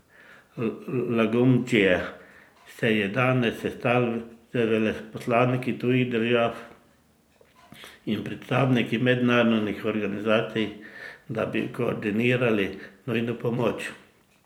Lagumdžija se je danes sestal z veleposlaniki tujih držav in predstavniki mednarodnih organizacij, da bi koordinirali nujno pomoč.